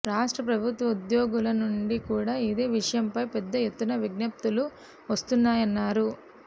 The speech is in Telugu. రాష్ట్ర ప్రభుత్వ ఉద్యోగుల నుండి కూడా ఇదే విషయంపై పెద్దఎత్తున విజ్ఞప్తులు వస్తున్నాయన్నారు